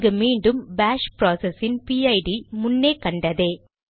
இங்கு மீண்டும் பாஷ் ப்ராசஸ் இன் பிஐடிPID முன்னே கண்டதே